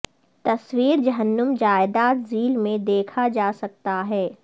تصویر جہنم جائیداد ذیل میں دیکھا جا سکتا ہے